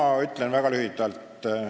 Ma ütlen väga lühidalt.